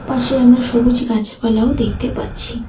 পাশে আমরা সবুজ গাছপালাও দেখতে পাচ্ছি।